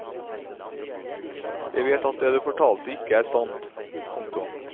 Jeg vet at det du fortalte ikke er sant. punktum